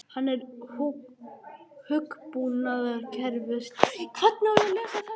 Hann er hugbúnaðarverkfræðingur.